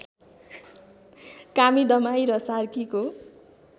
कामी दमाई र सार्कीको